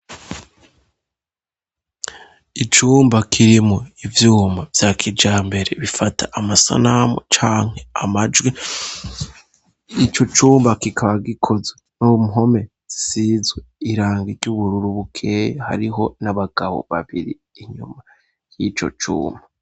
Icumba kirimwo ivyuma vya kijambere bifata amasanamu canke amajwi . Ico cumba kikaba gikozwe n'uruhome rusizwe iranga ry'ubururu bukeyi. Hariho n'abagabo babiri inyuma y'ico cumba.